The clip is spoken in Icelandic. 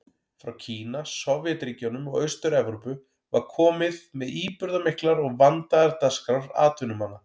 Frá Kína, Sovétríkjunum og Austur-Evrópu var komið með íburðarmiklar og vandaðar dagskrár atvinnumanna.